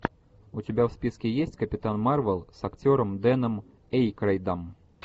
у тебя в списке есть капитан марвел с актером дэном эйкройдом